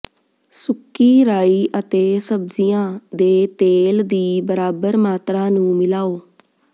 ਸੁੱਕੀ ਰਾਈ ਅਤੇ ਸਬਜ਼ੀਆਂ ਦੇ ਤੇਲ ਦੀ ਬਰਾਬਰ ਮਾਤਰਾ ਨੂੰ ਮਿਲਾਓ